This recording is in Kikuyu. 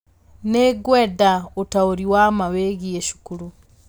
Nĩ ngwenda ũtaũri wa ma wĩgiĩ cukuru